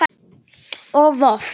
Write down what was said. og Voff